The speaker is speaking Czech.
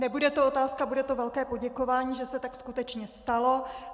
Nebude to otázka, bude to velké poděkování, že se tak skutečně stalo.